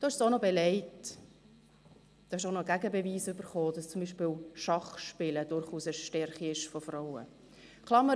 Sie haben es auch noch belegt und einen Gegenbeweis erhalten, dass zum Beispiel Schachspielen durchaus eine Stärke von Frauen ist.